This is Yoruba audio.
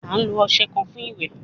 A lo ọṣẹ kan fun iwẹ